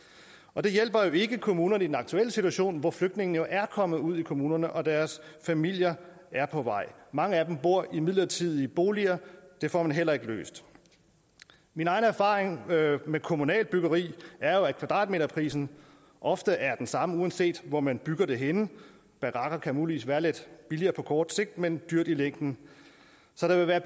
og det hjælper jo ikke kommunerne i den aktuelle situation hvor flygtningene jo er kommet ud i kommunerne og deres familier er på vej mange af dem bor i midlertidige boliger og det får man heller ikke løst min egen erfaring med kommunalt byggeri er jo at kvadratmeterprisen ofte er den samme uanset hvor man bygger det henne barakker kan muligvis være lidt billigere på kort sigt men dyrt i længden så der vil være